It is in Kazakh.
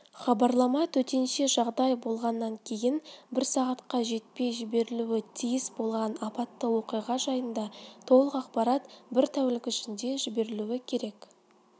хабарлама төтенше жағдай болғаннан кейін бір сағатқа жетпей жіберілуі тиіс болған апатты оқиға жайында толық ақпарат бір тәулік ішінде жіберілуі керек